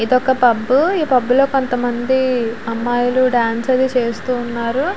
ఇదొక పబ్ . ఈ పబ్ లో కొంతమంది అమ్మాయిలు డాన్స్ అది చేస్తూ ఉన్నారు.